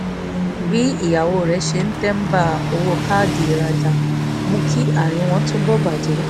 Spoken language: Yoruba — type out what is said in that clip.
bí ìyàwó rẹ̀ ṣe ń tẹ́nba owó káàdì ìrajà mú kí àárín wọn túbọ̀ bàjẹ́